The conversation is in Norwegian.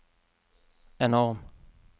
enorm